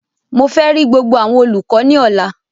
Mo fẹ ri gbogbo awọn olukọ ni ọla!